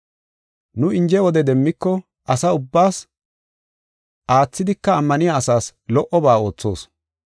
Nu inje wode demmiko, asa ubbaas, aathidika ammaniya asaas lo77oba oothoos.